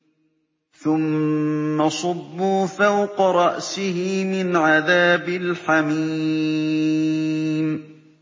ثُمَّ صُبُّوا فَوْقَ رَأْسِهِ مِنْ عَذَابِ الْحَمِيمِ